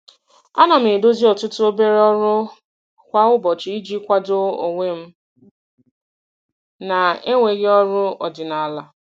Ana m edozi ọtụtụ obere ọrụ kwa ụbọchị iji kwado onwe m na-enweghị ọrụ ọdịnala.